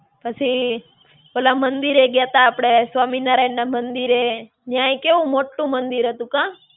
પછી, ઓલા મંદિરે ગ્યાતા આપણે સ્વામિનારાયણ ના મંદિરે, ન્યાયે કેવું મોટ્ટું મંદિર હતું કાં?